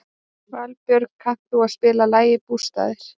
Valbjörk, kanntu að spila lagið „Bústaðir“?